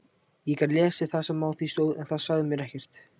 Ég gat lesið það sem á því stóð en það sagði mér ekkert.